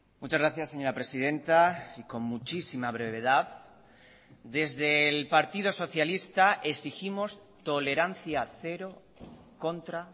muchas gracias señora presidenta y con muchísima brevedad desde el partido socialista exigimos tolerancia cero contra